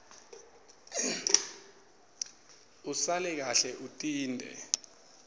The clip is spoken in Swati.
usale kahle utinte